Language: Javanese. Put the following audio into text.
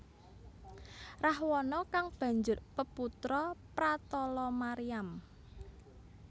Rahwana kang banjur peputra Pratalamariyam